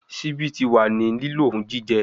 Sibi ti wa ni lilo fun jijẹ